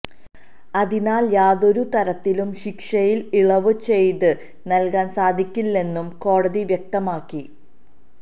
അതിനാൽ യാതൊരു തരത്തിലും ശിക്ഷയിൽ ഇളവ് ചെയ്ത് നൽകാൻ സാധിക്കില്ലെന്നും കോടതി വ്യക്തമാക്കി